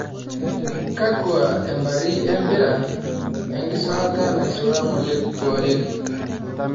kakua ambari empira enkisulata naisula ng'ole kewarie